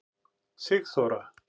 Sigþóra